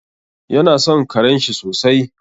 Yana son karenshi sosai.